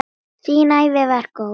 Þín ævi var góð.